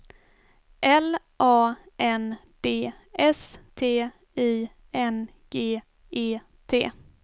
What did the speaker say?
L A N D S T I N G E T